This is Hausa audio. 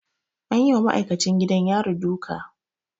An yi wa ma'aikacin gidan yari duka.